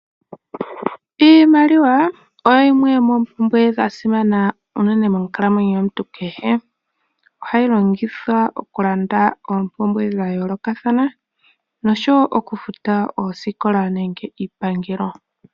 Iimaliwa oyo yimwe yoomompumbwe dha simana uunene monkalamwenyo komuntu kehe ohayi longithwa oku landa oompumbwe dha yoolokathana noshowo oku futa oosikola nenge iipangelo